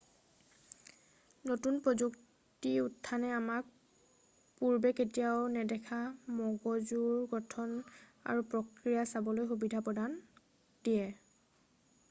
নতুন প্ৰযুক্তিৰ উত্থানে আমাক পূৰ্বে কেতিয়াও নেদেখা মগজুৰ গঠন আৰু প্ৰক্ৰিয়া চাবলৈ সুবিধা দিয়ে